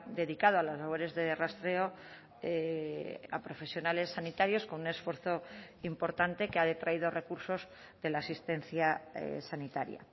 dedicado a las labores de rastreo a profesionales sanitarios con un esfuerzo importante que ha detraído recursos de la asistencia sanitaria